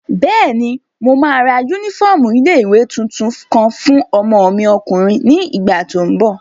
Bẹ́ẹ̀ni, mo máa ra yúnífọ́ọ̀mù ilé-ìwé tuntun kan fún ọmọ mi ọkùnrin ní ìgbà tó n bọ̀